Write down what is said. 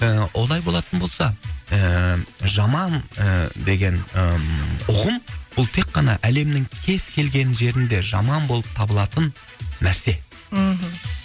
і олай болатын болса ііі жаман ііі деген ііі ұғым ол тек қана әлемнің кез келген жерінде жаман болып табылатын нәрсе мхм